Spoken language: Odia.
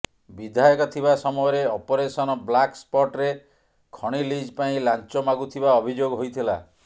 ବିଧାୟକ ଥିବା ସମୟରେ ଅପରେସନ ବ୍ଲାକ୍ ସ୍ପଟରେ ଖଣି ଲିଜ୍ ପାଇଁ ଲାଞ୍ଚ ମାଗୁଥିବା ଅଭିଯୋଗ ହୋଇଥିଲା